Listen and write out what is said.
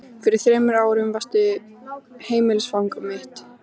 Fyrir þremur árum varstu heimilisfang mitt.